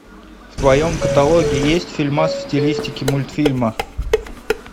в твоем каталоге есть фильмас в стилистике мультфильма